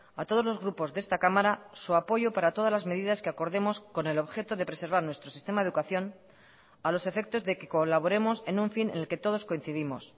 a todos los grupos de esta cámara su apoyo para todas las medidas que acordemos con el objeto de preservar nuestro sistema de educación a los efectos de que colaboremos en un fin en el que todos coincidimos